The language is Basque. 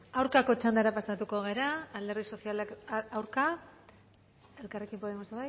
aurkako txandara pasatuk gara alderdi sozialistak aurka elkarrekin podemos